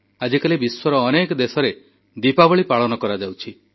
ଆଜିକାଲି ବିଶ୍ୱର ଅନେକ ଦେଶରେ ଦୀପାବଳି ପାଳନ କରାଯାଉଛି